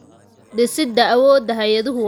Dhisida awoodda hay'aduhu waa tallaabo muhiim ah.